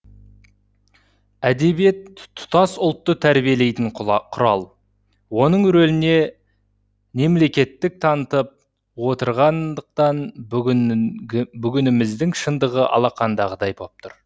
әдебиет тұтас ұлтты тәрбиелейтін құрал оның рөліне немкеттілік танытып отырғандықтан бүгініміздің шындығы алақандағыдай боп тұр